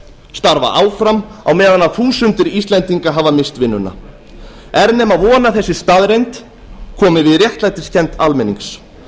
starfa áfram á meðan þúsundir íslendinga hafa misst vinnuna er nema von að þessi staðreynd komi við réttlætiskennd almennings